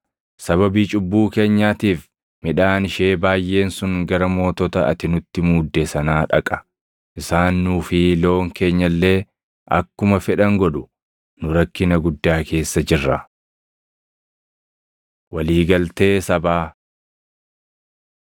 Sababii cubbuu keenyaatiif midhaan ishee baayʼeen sun gara mootota ati nutti muudde sanaa dhaqa. Isaan nuu fi loon keenya illee akkuma fedhan godhu. Nu rakkina guddaa keessa jirra. Walii Galtee Sabaa